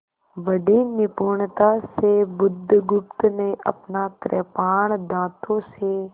बड़ी निपुणता से बुधगुप्त ने अपना कृपाण दाँतों से